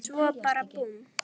Svo bara búmm.